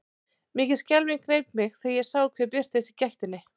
Mikil skelfing greip mig þegar ég sá hver birtist í gættinni.